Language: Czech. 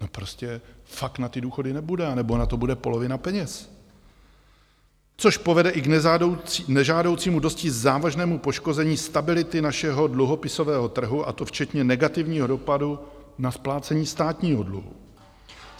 No, prostě fakt na ty důchody nebude, anebo na to bude polovina peněz, což povede i k nežádoucímu dosti závažnému poškození stability našeho dluhopisového trhu, a to včetně negativního dopadu na splácení státního dluhu.